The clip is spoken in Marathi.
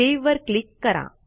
सेव्ह वर क्लिक करा